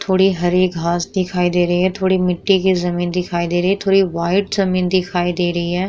थोड़े हरी घास दिखाई दे रही है थोड़े मिट्टी की ज़मीन दिखाई दे रही है थोड़ी वाइट ज़मीन दिखाई दे रही है।